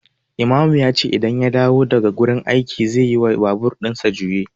Imamu yace idan ya dawo daga aiki zeyi wa babur ɗinsa juye